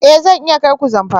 Ee! Zan iya kai ku Zamfara.